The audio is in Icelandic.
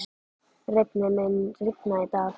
Reifnir, mun rigna í dag?